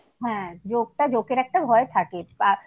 হ্যাঁ জোঁকটা জোঁকের একটা ভয় থাকেই।